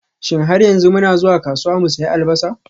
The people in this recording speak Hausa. Shin har yanzu muna zuwa kasuwa mu sayi Albasa?